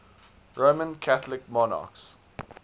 roman catholic monarchs